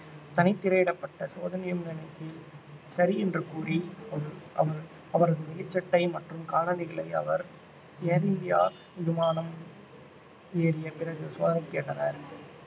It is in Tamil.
தனித்திரையிடப்பட்ட சோதனையும் நடத்தி சரி என்று கூறி அவ~ அவ~ அவரது வெளிச்சட்டை மற்றும் காலணிகளை அவர் ஏர் இந்தியா விமானம் ஏறிய பிறகு சோதனைக்கு கேட்டனர்